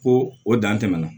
Ko o dan tɛmɛna